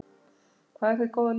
Hvað er hið góða líf?